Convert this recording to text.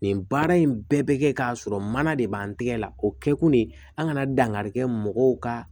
Nin baara in bɛɛ bɛ kɛ k'a sɔrɔ mana de b'an tɛgɛ la o kɛ kun de an kana dangari kɛ mɔgɔw ka